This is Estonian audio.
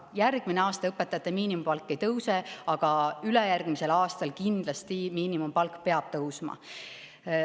Järgmine aasta õpetajate miinimumpalk ei tõuse, aga ülejärgmisel aastal peab miinimumpalk kindlasti tõusma.